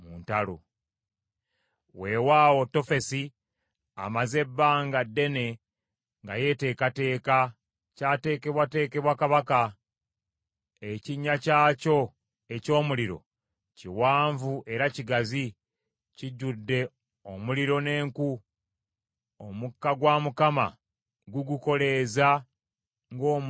Weewaawo Tofesi amaze ebbanga ddene nga yeeteekateeka; ky’ateekebwateekebwa kabaka. Ekinnya kyakyo eky’omuliro kiwanvu era kigazi, kijjudde omuliro n’enku; omukka gwa Mukama gugukoleeza ng’omugga gwa salufa.